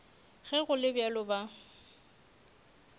ge go le bjalo ba